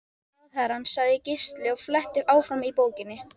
Ráðherrann, sagði Gísli og fletti áfram í bókinni.